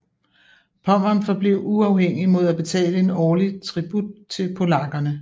Pommern forblev uafhængigt mod at betale en årlig tribut til polakkerne